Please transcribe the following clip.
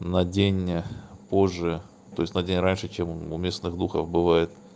на день позже то есть на день раньше чем у местных духов бывает